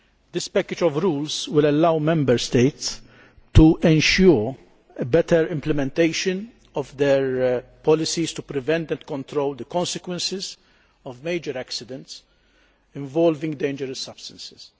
This package of rules will allow Member States to ensure better implementation of their policies to prevent and control the consequences of major accidents involving dangerous substances.